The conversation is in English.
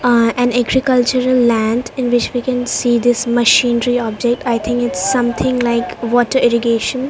an agricultural land in which we can see this machinery object i think it's something like water irrigation.